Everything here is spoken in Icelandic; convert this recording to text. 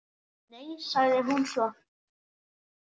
Nei, sagði hún svo.